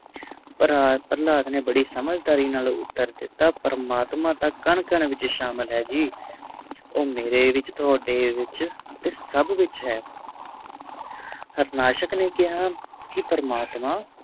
ਪ੍ਰਹਲਾਦ ਨੇ ਬੜੇ ਸਮਝਦਾਰੀ ਨਾਲ ਉਤਰ ਦਿਤਾ ਪ੍ਰਮਾਤਮਾ ਤਾ ਕਨ ਕਨ ਵਿਚ ਸ਼ਾਮਿਲ ਹੈ ਜੀ ਓ ਮੇਰੇ ਵਿਚ ਤੁਹਾਡੇ ਵਿਚ ਤੇ ਸਬ ਵਿਚ ਹੈ ਹਾਰਨਾਸ਼ਕ ਨੇ ਕਿਹਾ ਕਿ ਪ੍ਰਮਾਤ